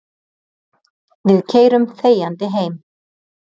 Við keyrum þegjandi heim.